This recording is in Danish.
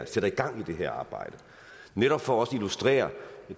sætter gang i det her arbejde netop for også at illustrere